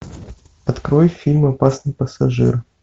открой фильм опасный пассажир